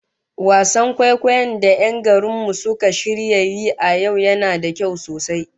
Wasan kwaikwayon da 'yan garin mu suka shirya yi a yau yana da kyau sosai